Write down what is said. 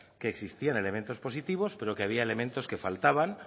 que existían elementos positivos pero que había elementos que faltaban